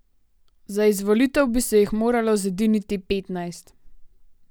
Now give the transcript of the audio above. Za izvolitev bi se jih moralo zediniti petnajst.